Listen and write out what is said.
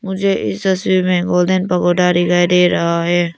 मुझे इस तस्वीर में गोल्डन पैगोडा का दे रहा है।